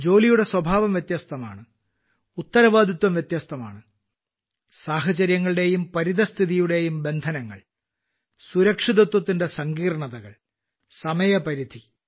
ജോലിയുടെ സ്വഭാവം വ്യത്യസ്തമാണ് ഉത്തരവാദിത്തം വ്യത്യസ്തമാണ് സാഹചര്യങ്ങളുടെയും പരിതസ്ഥിതിയുടെയും ബന്ധനങ്ങൾ സുരക്ഷിതത്വത്തിന്റെ സങ്കീർണ്ണതകൾ സമയപരിധി